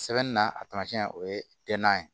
Sɛbɛnni na a tamasiɲɛ o ye ye